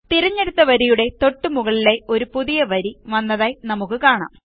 തിരഞ്ഞെടുത്ത വരിയുടെ തൊട്ടു മുകളിലായി ഒരു പുതിയ വരി വന്നതായി നമുക്ക് കാണാം